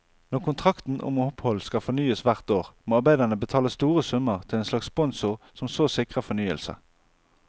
Når kontrakten om opphold skal fornyes hvert år, må arbeiderne betale store summer til en slags sponsor som så sikrer fornyelse.